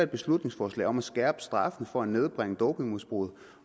beslutningsforslag om at skærpe straffen for at nedbringe dopingmisbruget